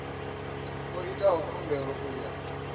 o itaho khumbelo u ya